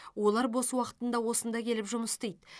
олар бос уақытында осында келіп жұмыс істейді